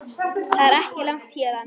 Það er ekki langt héðan.